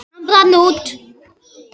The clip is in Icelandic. Hann brann út.